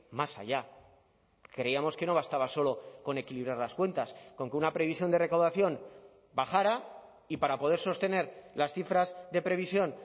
más allá creíamos que no bastaba solo con equilibrar las cuentas con que una previsión de recaudación bajara y para poder sostener las cifras de previsión